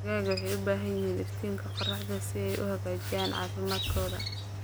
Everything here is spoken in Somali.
Digaagga waxay u baahan yihiin iftiinka qorraxda si ay u hagaajiyaan caafimaadkooda.